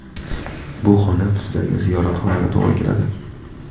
Bu xona bizdagi ziyoratxonaga to‘g‘ri keladi.